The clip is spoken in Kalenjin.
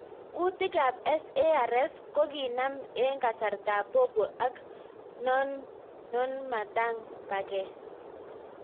Kutik ap SARS kokinam eng kasartaap popo ak nonamtang paket.